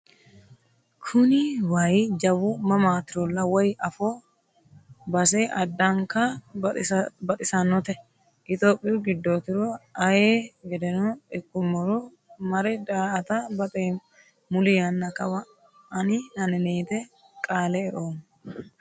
Kuni waayi jawu mamatirolla woyi afo base addanka baxisanote itophoyu giddotiro ayee gedeno ikkuummoro mare daa"atta baxeemmo muli yanna kawa ani anetete qaale e"oommo.